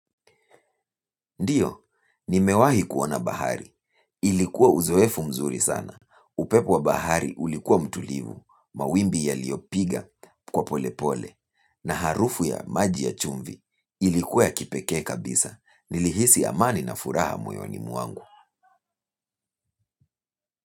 Ndio, nimewahi kuona bahari, ilikuwa uzoefu mzuri sana, upepo wa bahari ulikuwa mtulivu, mawimbi yaliyo piga kwa pole pole, na harufu ya maji ya chumvi ilikuwa ya kipeke kabisa, nilihisi amani na furaha moyoni mwangu.